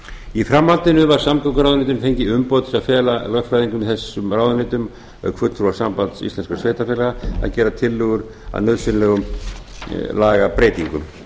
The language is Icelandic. í framhaldinu var samgönguráðuneytinu fengið umboð til að fela lögfræðingum í þessum ráðuneytum auk fulltrúa sambands íslenskum sveitarfélaga að gera tillögur að nauðsynlegur lagabreytingum